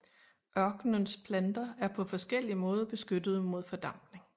Ørkenens planter er på forskellig måde beskyttede mod fordampning